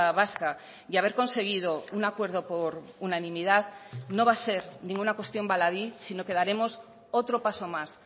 vasca y haber conseguido un acuerdo por unanimidad no va a ser ninguna cuestión baladí sino que daremos otro paso más